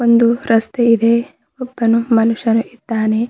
ಒಂದು ರಸ್ತೆ ಇದೆ ಒಬ್ಬನು ಮನುಷ್ಯನು ಇದ್ದಾನೆ.